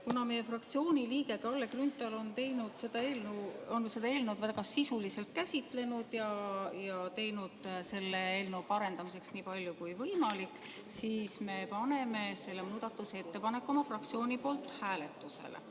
Kuna meie fraktsiooni liige Kalle Grünthal on seda eelnõu väga sisuliselt käsitlenud ja teinud selle eelnõu parandamiseks nii palju kui võimalik, siis me paneme selle muudatusettepaneku oma fraktsiooni nimel hääletusele.